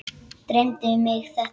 Dreymdi mig þetta?